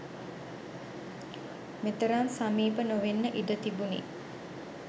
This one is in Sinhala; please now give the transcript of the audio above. මෙතරම් සමීප නොවෙන්න ඉඩතිබුනි.